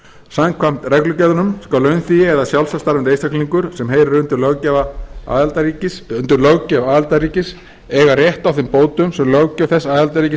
samkvæmt reglugerðunum skal launþegi eða sjálfstætt starfandi einstaklingur sem heyrir undir löggjöf aðildarríkis eiga rétt á þeim bótum sem löggjöf þess aðildarríkis